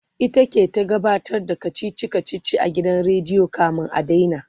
ita ke ta gabatar da kachichi kachichin a gidan rediyo kamin a daina